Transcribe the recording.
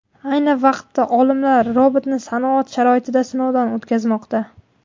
Ayni vaqtda olimlar robotni sanoat sharoitida sinovdan o‘tkazmoqda.